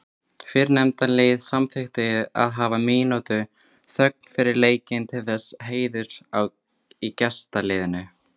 Fyrrnefnda liðið samþykkti að hafa mínútu þögn fyrir leikinn til heiðurs leikmanni í gestaliðinu.